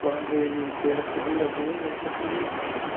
Quando ele teve a segunda vez, aí foi fulminante.